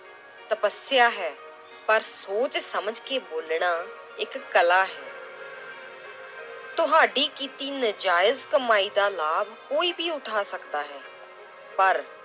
ਤਪੱਸਿਆ ਹੈ ਪਰ ਸੋਚ ਸਮਝ ਕੇ ਬੋਲਣਾ ਇੱਕ ਕਲਾ ਹੈ ਤੁਹਾਡੀ ਕੀਤੀ ਨਜਾਇਜ਼ ਕਮਾਈ ਦਾ ਲਾਭ ਕੋਈ ਵੀ ਉਠਾ ਸਕਦਾ ਹੈ ਪਰ